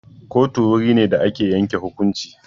Kotu wuri ne da ake yanke hukunci.